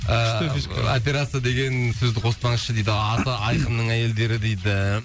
ыыы күшті фишка операция деген сөзді қоспаңызшы дейді аты айқынның әйелдері дейді